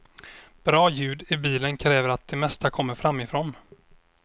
Bra ljud i bilen kräver att det mesta kommer framifrån.